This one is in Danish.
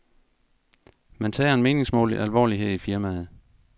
Man tager en meningsmåling alvorligt her i firmaet.